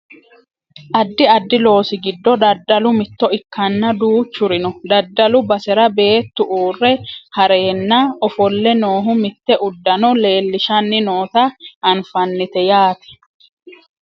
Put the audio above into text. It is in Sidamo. addi addi loosi giddo daddalu mitto ikkanna duuchuri noo daddalu basera beettu uurre heereenna ofolle noohu mitte uddano leellishanni noota anfannite yaate